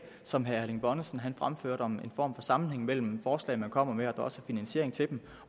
som herre erling bonnesen fremførte om en form for sammenhæng mellem forslag man kommer med og finansiering til dem